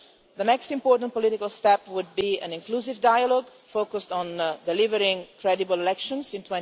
The next important political step would be an inclusive dialogue focused on delivering credible elections in